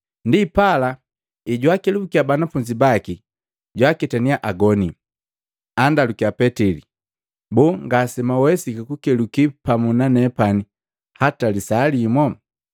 Ndipala ejwaakelubukiya banafunzi baki, jwaaketaniya agoni. Andalukiya Petili, “Boo ngasemwawesiki kukeluki pamu nanepani hata lisaa limo?